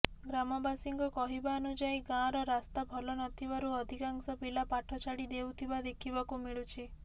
ଗ୍ରାମବାସୀଙ୍କ କହିବାନୁଯାୟୀ ଗାଁର ରାସ୍ତା ଭଲ ନଥିବାରୁ ଅଧିକାଂଶ ପିଲା ପାଠ ଛାଡି ଦେଉଥିବା ଦେଖିବାକୁ ମିଳୁଛି